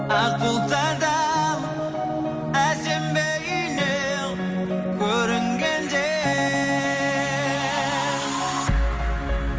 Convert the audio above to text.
ақ бұлттардан әсем бейнең көрінгенде